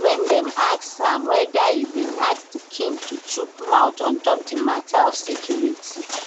wen dem ask am weda e bin ask di king to chook mouth on top di mata of security